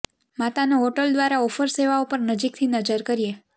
માતાનો હોટેલ દ્વારા ઓફર સેવાઓ પર નજીકથી નજર કરીએ